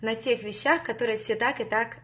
на тех вещах которые все так и так